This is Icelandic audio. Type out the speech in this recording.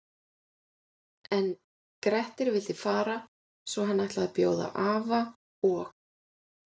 En Grettir vildi fara svo hann ætlaði að bjóða afa og